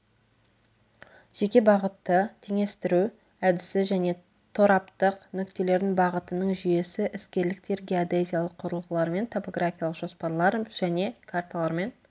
жеке бағытты теңестіру әдісі және тораптық нүктелердің бағытының жүйесі іскерліктер геодезиялық құрылғылармен топографиялық жоспарлар және карталармен